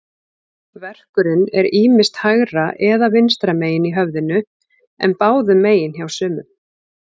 Verkurinn er ýmist hægra eða vinstra megin í höfðinu, en báðum megin hjá sumum.